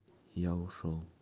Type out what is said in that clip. я ушёл